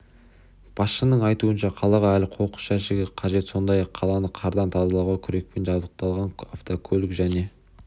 басшының айтуынша қалаға әлі қоқыс жәшігі қажет сондай-ақ қаланы қардан тазалауға күрекпен жабдықталған автокөлік және